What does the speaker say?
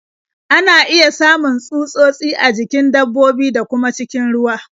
Ana iya samun tsutsotsi a jikin dabbobi, da kuma cikin ruwa.